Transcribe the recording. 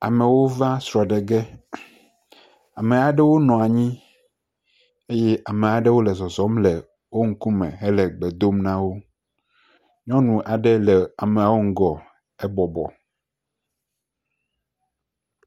Amewo va srɔ̃ɖe ge, ame aɖewo nɔ anyi eye ame aɖewo le zɔzɔm le wo ŋkume hele gbe dom na wo, nyɔnu aɖe le ameawo ŋkume hebɔbɔ.